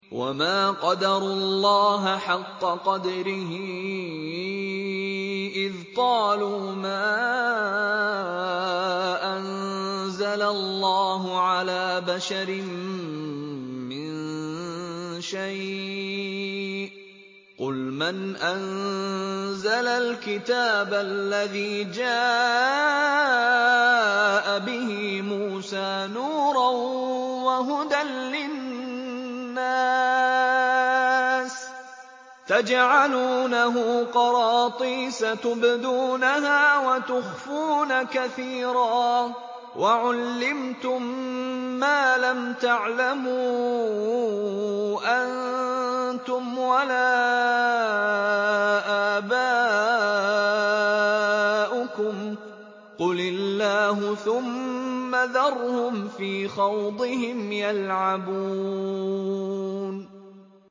وَمَا قَدَرُوا اللَّهَ حَقَّ قَدْرِهِ إِذْ قَالُوا مَا أَنزَلَ اللَّهُ عَلَىٰ بَشَرٍ مِّن شَيْءٍ ۗ قُلْ مَنْ أَنزَلَ الْكِتَابَ الَّذِي جَاءَ بِهِ مُوسَىٰ نُورًا وَهُدًى لِّلنَّاسِ ۖ تَجْعَلُونَهُ قَرَاطِيسَ تُبْدُونَهَا وَتُخْفُونَ كَثِيرًا ۖ وَعُلِّمْتُم مَّا لَمْ تَعْلَمُوا أَنتُمْ وَلَا آبَاؤُكُمْ ۖ قُلِ اللَّهُ ۖ ثُمَّ ذَرْهُمْ فِي خَوْضِهِمْ يَلْعَبُونَ